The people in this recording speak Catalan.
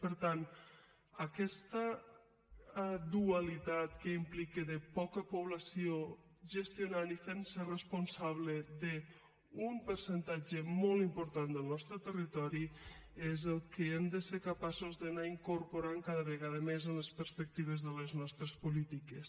per tant aquesta dualitat que implica de poca població gestionant i fentse responsable d’un percentatge molt important del nostre territori és el que hem de ser capaços d’anar incorporant cada vegada més en les perspectives de les nostres polítiques